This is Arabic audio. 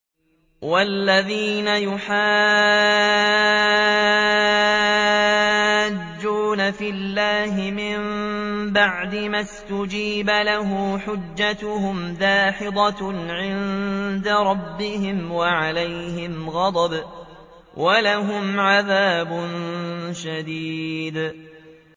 وَالَّذِينَ يُحَاجُّونَ فِي اللَّهِ مِن بَعْدِ مَا اسْتُجِيبَ لَهُ حُجَّتُهُمْ دَاحِضَةٌ عِندَ رَبِّهِمْ وَعَلَيْهِمْ غَضَبٌ وَلَهُمْ عَذَابٌ شَدِيدٌ